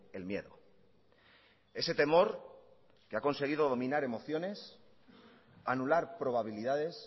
el miedo ese temor que ha conseguido dominar emociones anular probabilidades